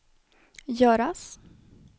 göras